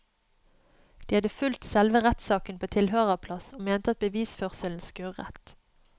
De hadde fulgt selve rettssaken på tilhørerplass og mente at bevisførselen skurret.